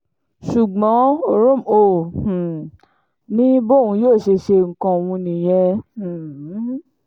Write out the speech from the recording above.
ṣùgbọ́n ooromhole um ni bóun yóò ṣe ṣe nǹkan òun nìyẹn um